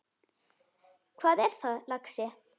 Hvað er það, lagsi?